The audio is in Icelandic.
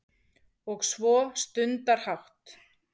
Og svo stundarhátt